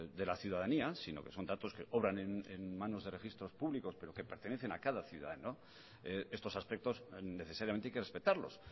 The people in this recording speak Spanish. de la ciudadanía sino que son datos que obran en manos de registros públicos pero que pertenecen a cada ciudadano estos aspectos necesariamente hay que respetarlos